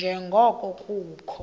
nje ngoko kukho